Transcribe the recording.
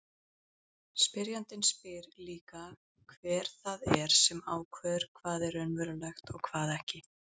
Spyrjandinn spyr líka hver það er sem ákveður hvað er raunverulegt og hvað ekki.